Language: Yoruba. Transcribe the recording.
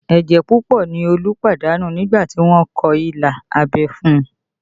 Ẹ̀jẹ̀ púpọ̀ ni Olú pàdánù nígbà tí wọ́n kọ ilà abẹ́ fún un